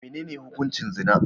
Menene hukuncin zina?